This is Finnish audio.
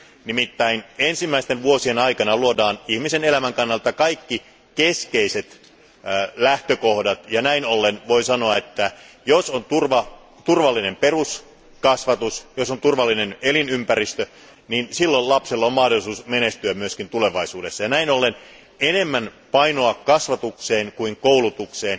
Nimittäin ensimmäisten vuosien aikana luodaan ihmisen elämän kannalta kaikki keskeiset lähtökohdat, ja näin ollen voi sanoa, että jos on turvallinen peruskasvatus, jos on turvallinen elinympäristö, niin silloin lapsella on mahdollisuus menestyä myös tulevaisuudessa Näin ollen on painotettava enemmän kasvatusta kuin koulutusta.